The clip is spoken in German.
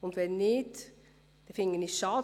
Wenn nicht, fände ich es schade.